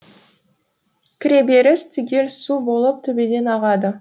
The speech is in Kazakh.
кіреберіс түгел су болып төбеден ағады